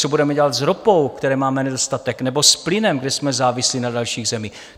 Co budeme dělat s ropou, které máme nedostatek, nebo s plynem, kde jsme závislí na dalších zemích?